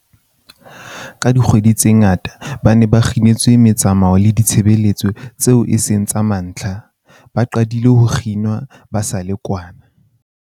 Ka dikgwedi tse ngata, ba ne ba kginetswe metsamao le ditshebeletso tseo e seng tsa mantlha, ba qadile ho kginwa ba sa le kwana